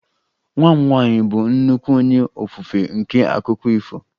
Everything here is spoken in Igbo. Nwa m nwanyị bụ nnukwu onye ofufe nke akụkọ ifo